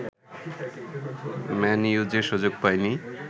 man U যে সুযোগ পায়নি